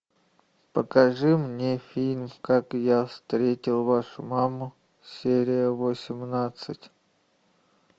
покажи мне фильм как я встретил вашу маму серия восемнадцать